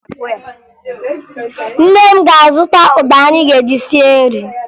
Nne m ga-azụta ụgba anyị ga-eji sie nri